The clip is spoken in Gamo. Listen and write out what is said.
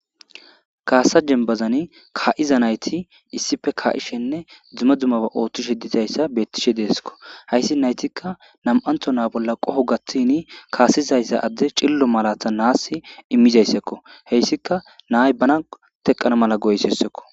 kaasa jembazani ka'iza nayti issife ka'ishenne dzuma dzumaba ooththishe dizayssa beettishe deeskko hayssi naytikka nam7antho naa bolla qoho gaththini kaasizayssa adde cillo malatha naass immizayssakko heyssika nay bana teqana mala goyssessekko.